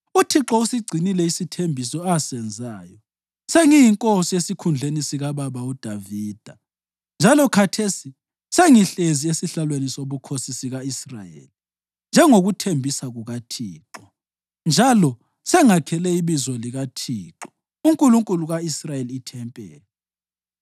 UThixo usigcinile isithembiso asenzayo: Sengiyinkosi esikhundleni sikababa uDavida njalo khathesi sengihlezi esihlalweni sobukhosi sika-Israyeli njengokuthembisa kukaThixo, njalo sengakhele iBizo likaThixo, uNkulunkulu ka-Israyeli ithempeli.